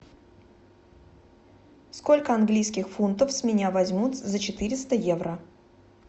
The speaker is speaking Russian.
сколько английских фунтов с меня возьмут за четыреста евро